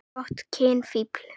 Gott kynlíf.